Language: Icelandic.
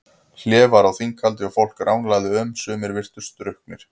Hlé var á þinghaldi og fólk ranglaði um, sumir virtust drukknir.